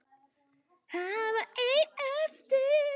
Hann var einn eftir.